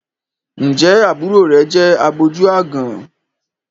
Ǹjẹ́ àbúrò rẹ̀ obìnrin jẹ́ àgbójú-aágan?